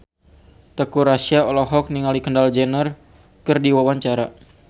Teuku Rassya olohok ningali Kendall Jenner keur diwawancara